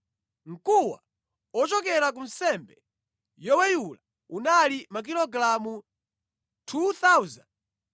Mkuwa ochokera ku nsembe yoweyula unali makilogalamu 2,425.